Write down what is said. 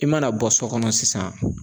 I mana bɔ so kɔnɔ sisan